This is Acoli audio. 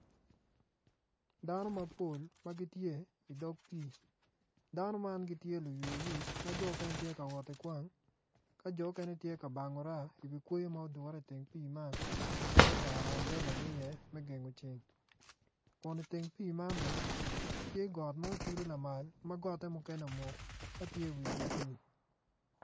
Dano mapol ma gitye i dog pii dano ma gitye luwe wic mukene gitye ka wot ki kwang ka jo mukene gitye ka bango raa i wi kweyo ma odure i teng pii ma gutero ambrelagi i ye me gengo ceng